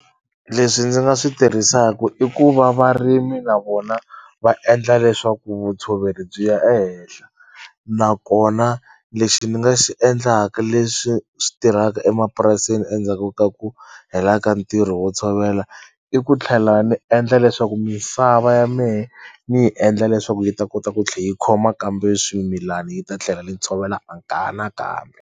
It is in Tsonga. Leswi ndzi nga swi tirhisaku i ku va varimi na vona va endla leswaku vutshoveri byi ya ehenhla nakona lexi ni nga xi endlaka leswi swi tirhaka emapurasini endzhaku ka ku hela ka ntirho wo tshovela i ku tlhela ni endla leswaku misava ya mehe ni yi endla leswaku yi ta kota ku tlhe yi khoma kambe swimilani yi ta tlhela ni ntshovelo nakambe.